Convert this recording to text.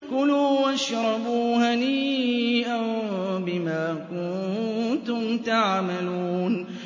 كُلُوا وَاشْرَبُوا هَنِيئًا بِمَا كُنتُمْ تَعْمَلُونَ